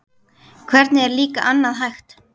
Hvernig er líka annað hægt?